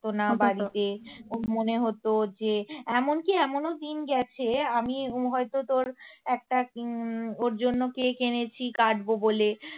পারতো না বাড়িতে ওর মনে হতো যে এমনকি এমনও দিন গেছে আমি হয়তো তোর একটা উম ওর জন্য কেক এনেছি কাটবো বলে